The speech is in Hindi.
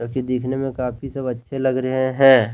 दिखने में काफी सब अच्छे लग रहे हैं।